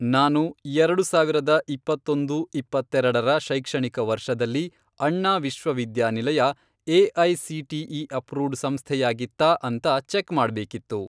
ನಾನು, ಎರಡು ಸಾವಿರದ ಇಪ್ಪತ್ತೊಂದು, ಇಪ್ಪತ್ತೆರೆಡರ ಶೈಕ್ಷಣಿಕ ವರ್ಷದಲ್ಲಿ, ಅಣ್ಣಾ ವಿಶ್ವವಿದ್ಯಾನಿಲಯ ಎ.ಐ.ಸಿ.ಟಿ.ಇ. ಅಪ್ರೂವ್ಡ್ ಸಂಸ್ಥೆಯಾಗಿತ್ತಾ ಅಂತ ಚೆಕ್ ಮಾಡ್ಬೇಕಿತ್ತು.